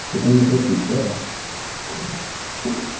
ты ко мне просись ладно